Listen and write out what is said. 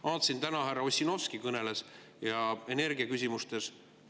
Vaatasin, et täna härra Ossinovski kõneles energiaküsimustest.